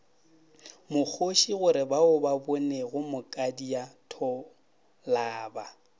mokgoši gorebao ba bonego mokadiatholaba